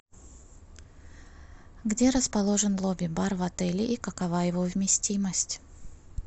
где расположен лобби бар в отеле и какова его вместимость